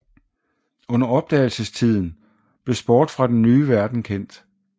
Under Opdagelsestiden blev sport fra Den Nye Verden kendt